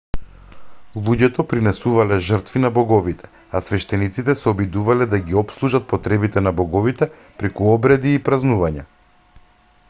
луѓето принесувале жртви на боговите а свештениците се обидувале да ги опслужат потребите на боговите преку обреди и празнувања